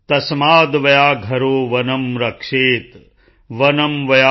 ਤਸਮਾਦ੍ ਵਯਾਘਰੋ ਵਨੰ ਰਕਸ਼ੇਤ੍ ਵਨੰ ਵਯਾਘਰੰ ਨ ਪਾਲਯੇਤ੍